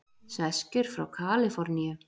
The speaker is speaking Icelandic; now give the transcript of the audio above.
Sveskjur frá Kaliforníu.